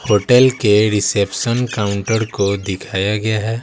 Hotel के reception counter को दिखाया गया है।